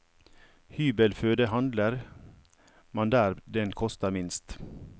Hybelføde handler man der den koster minst.